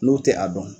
N'o tɛ a dɔn